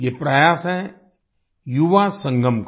ये प्रयास है युवा संगम का